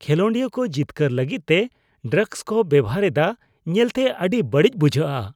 ᱠᱷᱮᱞᱳᱰᱤᱭᱟᱹ ᱠᱚ ᱡᱤᱛᱠᱟᱹᱨ ᱞᱟᱹᱜᱤᱫᱛᱮ ᱰᱨᱟᱜᱽᱥ ᱠᱚ ᱵᱮᱶᱦᱟᱨ ᱮᱫᱟ ᱧᱮᱞᱛᱮ ᱟᱹᱰᱤ ᱵᱟᱹᱲᱤᱡ ᱵᱩᱡᱷᱟᱹᱜᱼᱟ